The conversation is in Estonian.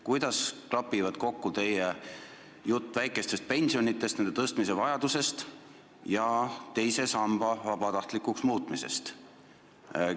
Kuidas klapivad kokku teie jutt väikestest pensionitest ja nende tõstmise vajadusest ning teise samba vabatahtlikuks muutmise plaan?